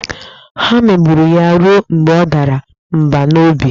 Ha megburu ya ruo mgbe ọ dara mba n'obi.